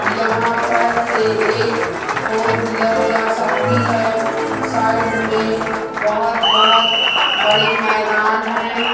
यहां पर से एक फोर व्हीलर जा सकती है साइड मे बहोत बहोत बड़े मैदान है।